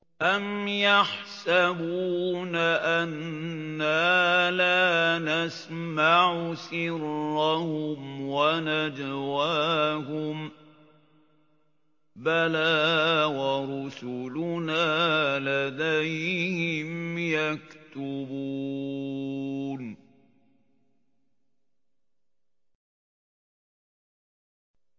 أَمْ يَحْسَبُونَ أَنَّا لَا نَسْمَعُ سِرَّهُمْ وَنَجْوَاهُم ۚ بَلَىٰ وَرُسُلُنَا لَدَيْهِمْ يَكْتُبُونَ